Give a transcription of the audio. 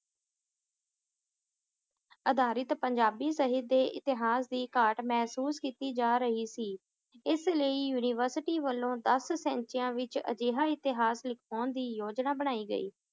ਅਧਾਰਿਤ ਪੰਜਾਬੀ ਸਾਹਿਤ ਦੇ ਇਤਿਹਾਸ ਦੀ ਘਾਟ ਮਹਿਸੂਸ ਕੀਤੀ ਜਾ ਰਹੀ ਸੀ ਇਸ ਲਈ university ਵੱਲੋਂ ਦੱਸ ਵਿਚ ਅਜਿਹਾ ਇਤਿਹਾਸ ਲਿਖਾਉਣ ਦੀ ਯੋਜਨਾ ਬਣਾਈ ਗਈ